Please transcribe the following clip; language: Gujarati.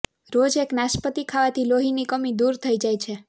રોજ એક નાશપતી ખાવાથી લોહીની કમી દૂર થઈ જાય છે